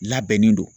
Labɛnnen don